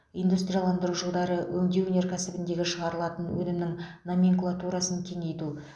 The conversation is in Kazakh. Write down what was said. индустрияландыру жылдары өңдеу өнеркәсібіндегі шығарылатын өнімнің номенклатурасын кеңейту